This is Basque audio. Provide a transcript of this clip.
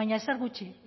baina ezer gutxi